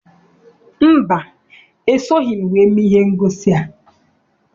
Mba, esoghị m wee mee ihe ngosi a.